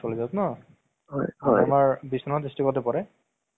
হয় কিবা পুস্পা movies খন চাইছিলো